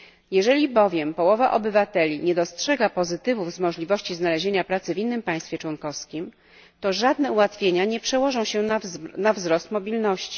Jeżeli bowiem połowa obywateli nie dostrzega pozytywów z możliwości znalezienia pracy w innym państwie członkowskim, to żadne ułatwienia nie przełożą się na wzrost mobilności.